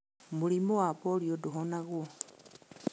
Mũrimũ wa polio ndũhonagwo.